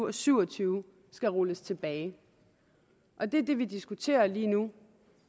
og syv og tyve skal rulles tilbage og det er det vi diskuterer lige nu